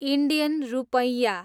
Indian रूपैयाँ